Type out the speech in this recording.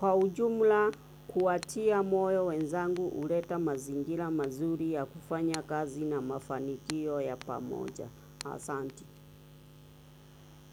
Kwa ujumla kuwatia moyo wenzangu huleta mazingira mazuri ya kufanya kazi na mafanikio ya pamoja.